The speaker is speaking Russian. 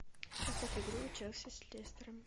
поставь игру челси с лестером